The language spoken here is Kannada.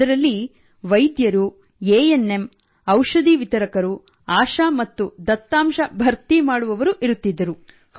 ಅದರಲ್ಲಿ ವೈದ್ಯರು ಎ ಎನ್ ಎಂ ಔಷಧಿ ವಿತರಕರು ಆಶಾ ಮತ್ತು ದತ್ತಾಂಶ ಭರ್ತಿ ಮಾಡುವವರು ಇರುತ್ತಿದ್ದರು